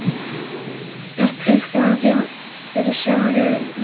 Er tilfinningin fyrir sumrinu góð?